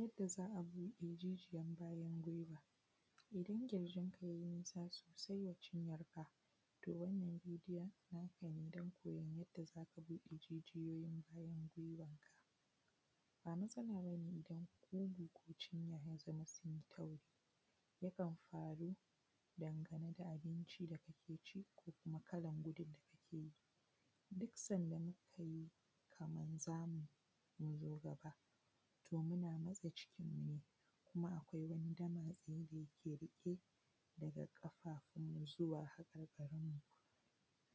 Yadda za a bude jijiyar bayan gwiwa. Idan ƙirjinka ye nisa sosai wa cinyarka to wannan bidiyon naka ne, don koyon yadda zaka bude jijiyoyin bayan gwiwarka. Ba matsala bane idan kugu ko cinya ya zama sunyi tauri, yakan faru dangane da abinci da kake ci, ko kuma kalan gudun da kake yi, duk sanda mukai kaman zamu mu zo gaba, to muna matse cikinmu ne kuma akwai wani damatse da yike riƙe daga ƙafa kuma zuwa hakarkarinmu.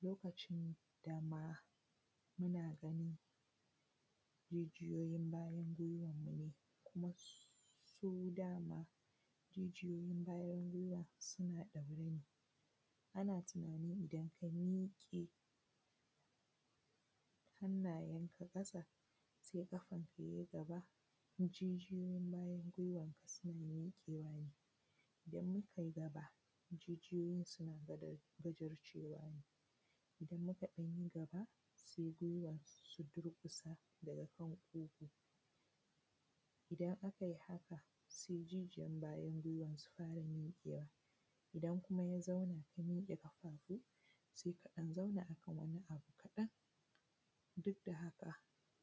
Lokacin dama muna gani jijoyoyin bayan gwiwanmu kuma su dama jijiyoyinmu bayan gwiwanmu suna ɗaure ne, ana tunanin idan ka miƙe hannayenka ƙasa, sai ƙafanka ya yi gaba, jijiyoyin bayan gwiwanka suna miƙewa ne, idan mukai gaba jijiyoyin bujurcewa ne, idan muka ɗan yi gaba sai gwiwan su durƙusa daga kan kugu, idan aka haka sai jijiyan bayan gwiwan su fara miƙewa, idan kuma ya zauna ya mike ƙafafu sai ka ɗan zauna akan wani abu kaɗan. Duk da haka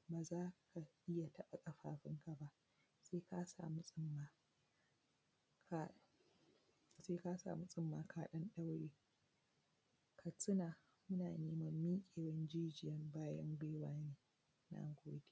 baza ka iya taɓa ƙafafunka ba sai ka samu tsumma ka ɗan ɗaure. Ka tuna muna neman miƙewan jijiyan bayan gwiwa ne. Na gode.